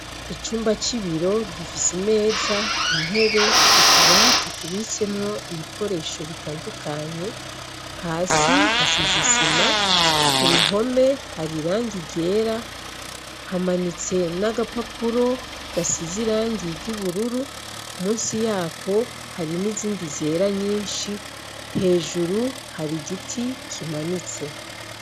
Icumba c'ibiro gifise imeza, intebe, utubati tubitsemwo ibikoresho bitandukanye, hasi hasize isima, ku ruhome hari irangi ryera, hamanitse n'agapapuro gasize irangi ry'ubururu, musi yako hari n'izindi zera nyishi, hejuru hari igiti kimanitse.